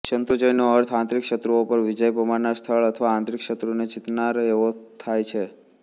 શત્રુંજયનો અર્થ આંતરિક શત્રુઓ પર વિજય પમાડનાર સ્થળ અથવા આંતરિક શત્રુને જીતનાર એવો થાય છે